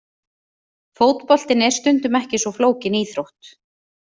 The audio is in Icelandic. Fótboltinn er stundum ekki svo flókin íþrótt!!!